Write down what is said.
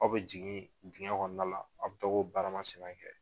Aw bɛ jigin digɛn kɔnɔna la aw bɛ tɔg'o baara masina kɛ.